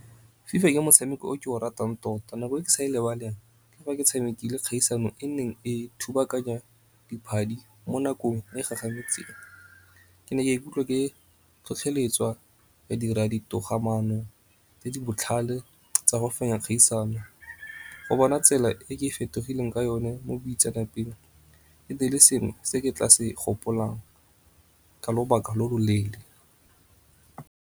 FIFA ke motshameko o ke o ratang tota nako e ke sa lebale ke fa ke tshamekile kgaisano e neng e thubakanya mo nakong e gagametseng. Ke ne ka ikutlwa ke tlhotlheletswa ka dira di togamaano tse di botlhale tsa go fenya kgaisano. Go bona tsela e ke fetogileng ka yone mo boitseanape e ne e le sengwe se ke tla se gopolang ka lobaka lo lo leele.